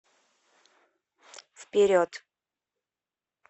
вперед